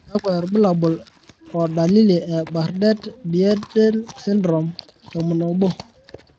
kakwa irbulabol o dalili e Bardet BiedI syndrome 11?